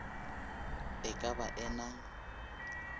e ka ba e na